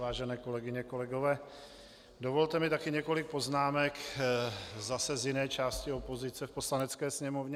Vážené kolegyně, kolegové, dovolte mi taky několik poznámek zase z jiné části opozice v Poslanecké sněmovně.